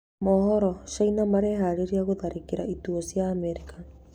Mohoro: China mareharĩrĩria gũtharĩkĩra ituo cia Amerika